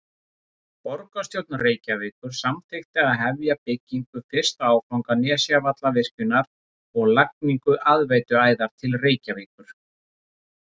Borgarstjórn Reykjavíkur samþykkti að hefja byggingu fyrsta áfanga Nesjavallavirkjunar og lagningu aðveituæðar til Reykjavíkur.